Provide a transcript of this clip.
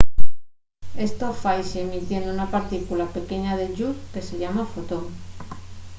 esto faise emitiendo una partícula pequeña de lluz que se llama fotón